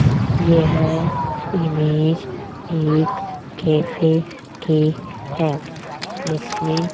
यह इमेज एक कैफे कि है जिसमें--